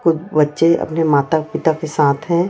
कुछ बच्चे अपने माता पिता के साथ हैं।